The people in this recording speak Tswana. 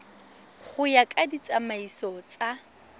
go ya ka ditsamaiso tsa